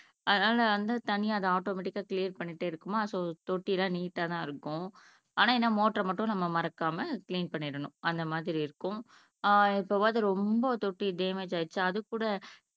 அதுனால வந்து தண்ணி அது ஆட்டோமேட்டிக்கா கிளியர் பண்ணிகிட்டே இருக்குமா தொட்டி எல்லாம் நீட்டா தான் இருக்கும் ஆனா என்ன மோட்டர் மட்டும் நம்ம மறக்காம கிளீன் பண்ணிறனும் அந்த மாதிரி இருக்கும் ஆஹ் எப்போவாவது ரொம்ப தொட்டி டேமேஜ் ஆயிருச்சா அதுக்கு கூட